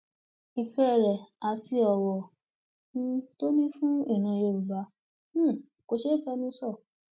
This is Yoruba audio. ìfẹ rẹ àti ọwọ um tó ní fún ìran yorùbá um kò ṣeé fẹnu sọ